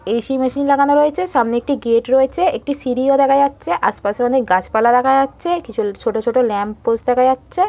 AC. Machine লাগানো রয়েছে সামনে একটি গেট রয়েছে একটি সিঁড়িও দেখা যাচ্ছে আশেপাশে অনেক গাছপালা দেখা যাচ্ছে কিছু ছোট ছোট ল্যাম্পপোস্ট দেখা যাচ্ছে।